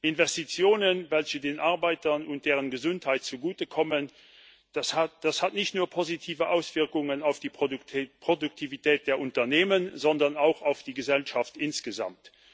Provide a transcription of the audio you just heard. Investitionen, die den Arbeitern und deren Gesundheit zugutekommen, haben nicht nur positive Auswirkungen auf die Produktivität der Unternehmen, sondern auch auf die Gesellschaft insgesamt.